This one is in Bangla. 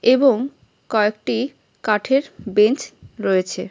এবং কয়েকটি কাঠের বেঞ্চ রয়েছে।